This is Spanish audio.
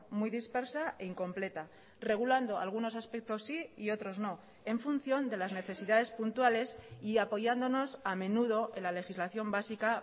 muy dispersa e incompleta regulando algunos aspectos sí y otros no en función de las necesidades puntuales y apoyándonos a menudo en la legislación básica